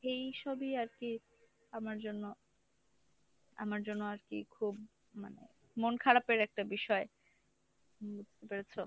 এই সবই আরকি আমার জন্য আমার জন্য আরকি খুব মনে মন খারাপের একটা বিষয়। বুঝতে পেরেছো?